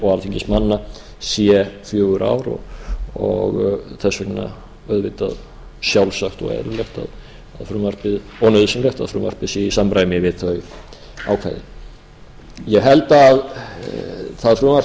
og alþingismanna sé fjögur ár og þess vegna auðvitað sjálfsagt og eðlilegt og nauðsynlegt að frumvarpið sé í samræmi við þau ákvæði ég held að það frumvarp